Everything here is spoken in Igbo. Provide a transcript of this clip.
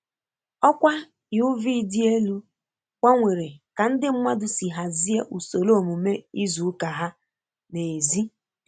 Ọkwa UV dị elu gbanwere ka ndị mmadụ si hazie usoro omume izu ụka ha n'èzí.